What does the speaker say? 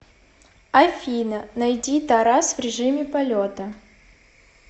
афина найди тарас в режиме полета